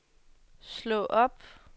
slå op